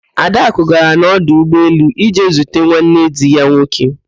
Adakụ gara n'ọdụ ụgbọelu ije zute nwanne di ya nwoke